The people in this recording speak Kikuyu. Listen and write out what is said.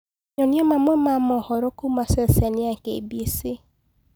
Nyonĩa mamwe ma mohoro kũũma ceceni ya K.B.C